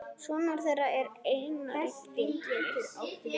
Sonur þeirra er Einar Vignir.